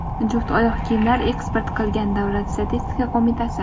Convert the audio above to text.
juft oyoq kiyimlar eksport qilgan – Davlat statistika qo‘mitasi.